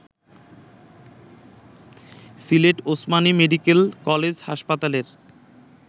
Sylhet Osmani medical college হাসপাতালের